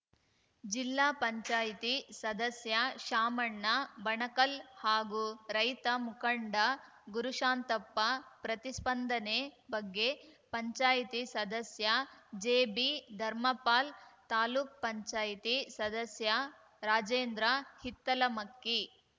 ಜಿಲ್ಲಾಪಂಚಾಯ್ತಿ ಸದಸ್ಯ ಶಾಮಣ್ಣ ಬಣಕಲ್‌ ಹಾಗೂ ರೈತ ಮುಖಂಡ ಗುರುಶಾಂತಪ್ಪ ಪ್ರತಿಸ್ಪಂದನೆ ಬಗ್ಗೆ ಪಂಚಾಯ್ತಿ ಸದಸ್ಯ ಜೆಬಿ ಧರ್ಮಪಾಲ್‌ ತಾಲೂಕುಪಂಚಾಯ್ತಿ ಸದಸ್ಯ ರಾಜೇಂದ್ರ ಹಿತ್ತಲಮಕ್ಕಿ